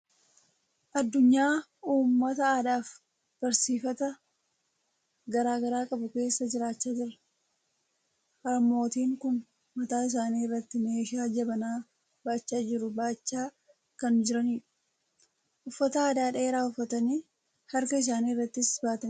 Addunyaa uummata aadaa fi barsiifata garaa garaa qabu keessa jiraachaa jirra. Harmootiin kun mataa isaanii irratti meeshaa jabanaa baachaa jiru baachaa kan jirani dha. Uffata gadi dheeraa uffatanii harka isaanii irrattis baatanii jiru.